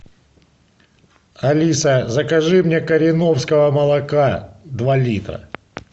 алиса закажи мне кореновского молока два литра